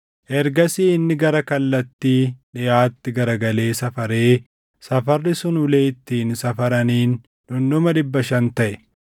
Ergasii inni gara kallattii dhiʼaatti garagalee safaree, safarri sun ulee ittiin safaraniin dhundhuma dhibba shan taʼe.